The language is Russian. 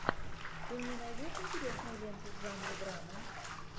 ты мне найдешь интересную ленту в жанре драма